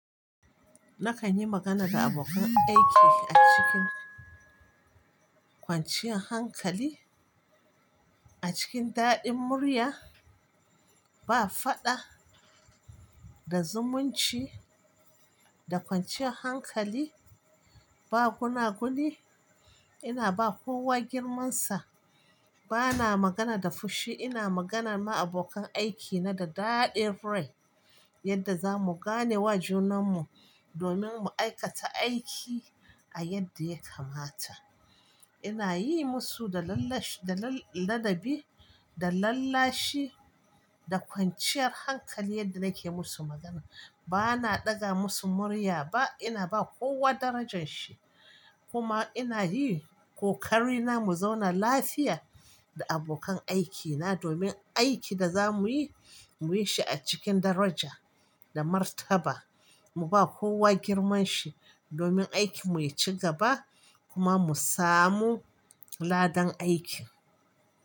Nakan yi magana da abokan aiki a cikin kwanciya hankali, a cikin daɗin murya, ba faɗa, da zumunci, da kwanciyar hankali, ba guna guni. Ina ba kowa girmansa, bana magana da fushi, ina magana ma abokan aikina da daɗin rai yadda zamu gane wa junanmu domin mu aikata aiki, a yadda ya kamata. Ina yi musu da lallashi, da ladabi, da lallashi, da kwanciyar hankali yadda nake musu magana. Bana ɗaga musu murya ba, ina ba kowa darajanshi kuma ina yi ƙoƙari na mu zauna lafiya, da abokan aikina domin aikin da za muyi, muyi shi a cikin daraja da martaba. Mu ba kowa girman shi domin aikin muyi ci gaba kuma mu samu, ladan aiki.